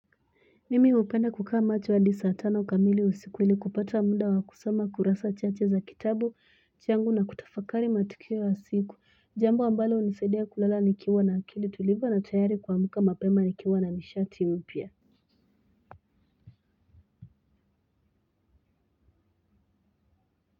Mimi hupenda kukaa macho hadi saa tano kamili usiku ili kupata muda wakusoma kurasa chache za kitabu changu na kutafakari matukio ya siku jambo ambalo hunisadia kulala nikiwa na akili tulivu na tayari kuamka mapema nikiwa na nishati mpya.